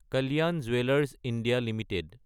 Kalyan jewellers India Ltd